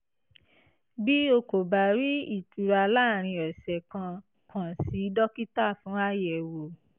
bí o kò bá rí ìtura láàárín ọ̀sẹ̀ kan kàn sí dókítà fún àyẹ̀wò